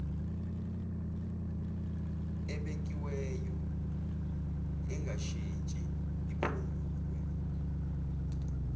ebekiweyo engashintshi iphungulwe